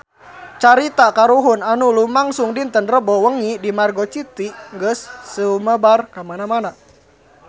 Carita kahuruan anu lumangsung dinten Rebo wengi di Margo City geus sumebar kamana-mana